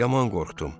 Yaman qorxdum.